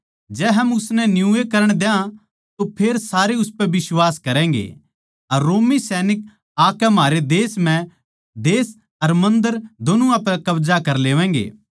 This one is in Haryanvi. जै हम उसनै न्यूए करण द्या तो फेर सारे उसपै बिश्वास करैगें अर रोमी सैनिक आकै म्हारी देश अर मन्दर दोनुवां पै कब्जा कर लेवैगें